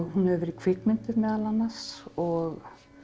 hún hefur verið kvikmynduð meðal annars og